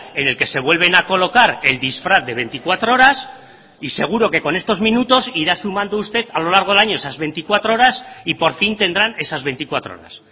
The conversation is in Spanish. en el que se vuelven a colocar el disfraz de veinticuatro horas y seguro que con estos minutos irá sumando usted a lo largo del año esas veinticuatro horas y por fin tendrán esas veinticuatro horas